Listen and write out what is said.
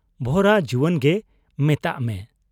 ᱵᱷᱚᱨᱟ ᱡᱩᱣᱟᱹᱱᱜᱮ ᱢᱮᱛᱟᱜ ᱢᱮ ᱾